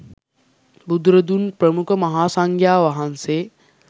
බුදුරදුන් ප්‍රමුඛ මහාසංඝයා වහන්සේ